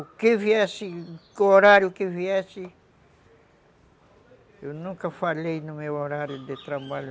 O que viesse, o horário que viesse, eu nunca falhei no meu horário de trabalho,